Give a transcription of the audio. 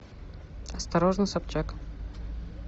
осторожно собчак